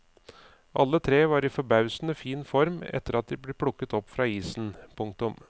Alle tre var i forbausende fin form etter at de ble plukket opp fra isen. punktum